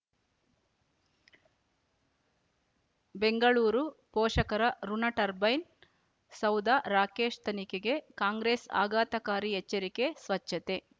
ಬೆಂಗಳೂರು ಪೋಷಕರಋಣ ಟರ್ಬೈನ್ ಸೌಧ ರಾಕೇಶ್ ತನಿಖೆಗೆ ಕಾಂಗ್ರೆಸ್ ಆಘಾತಕಾರಿ ಎಚ್ಚರಿಕೆ ಸ್ವಚ್ಛತೆ